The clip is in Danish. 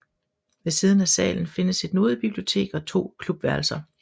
Ved siden af salen findes et nodebibliotek og to klubværelser